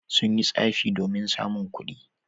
Sun yi tsafi domin samun kuɗi.